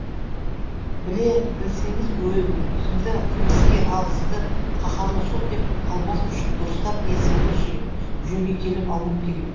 біле білсеңіз өзімді қылмыскер ал сізді қаһарлы сот деп қалмас үшін дұрыстап есімді жиып жөнге келіп алуым керек